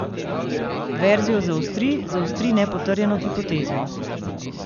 Verzijo zaostri, zaostri nepotrjeno hipotezo.